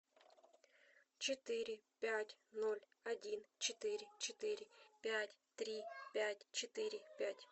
четыре пять ноль один четыре четыре пять три пять четыре пять